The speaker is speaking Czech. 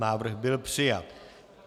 Návrh byl přijat.